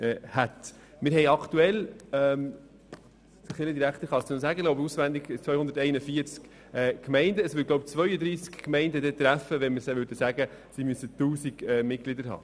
Wenn wir beschlössen, dass eine Kirchgemeinde mindestens 1000 Mitglieder umfassen müsste, würde dies etwa 32 Kirchgemeinden betreffen.